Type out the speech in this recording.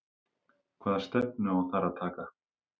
Hvaða stefnu á þar að taka?